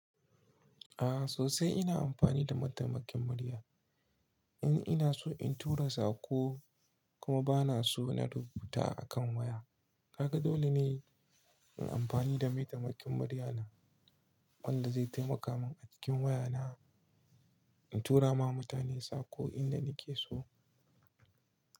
A'a sosai ina amfani da mataimakin murya. In ina so in tura sako kuma ba na so na rubuta a kan waya kaga dole ne in amfani da mataimakin murya na wanda zai taimaka min a cikin waya na in tura ma mutane sako inda nake so.